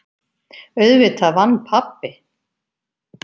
Auðvitað vann pabbi!